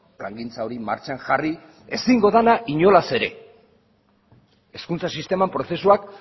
plangintza hori martxan jarri ezingo dena inolaz ere hezkuntza sisteman prozesuak